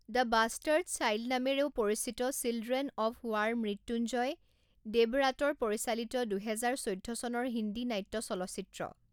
The bastard child নামেৰেও পৰিচিত children of war Mrityunjay দেৱৰাটৰ পৰিচালিত দুহেজাৰ চৈধ্য চনৰ হিন্দী নাট্য চলচ্চিত্ৰ।